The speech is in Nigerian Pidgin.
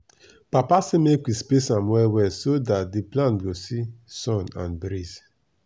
papa say make we space am well well so dat d plant go see sun and breeze.